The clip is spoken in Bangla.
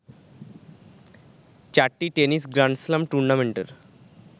চারটি টেনিস গ্র্যান্ড স্ল্যাম টুর্নামেন্টের